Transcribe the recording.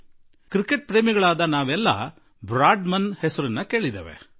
ನಾವು ಕ್ರಿಕೆಟ್ ಪ್ರೇಮಿಗಳೆಲ್ಲರೂ Bradman ಅವರ ಹೆಸರನ್ನು ಕೇಳಿದ್ದೇವೆ